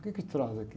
O que te traz aqui?